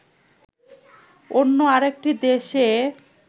অন্য আরেকটি দেশে